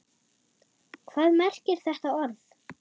Hvað merkir þetta orð?